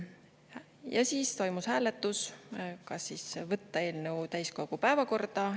Ja siis toimus hääletus, kas võtta eelnõu täiskogu päevakorda.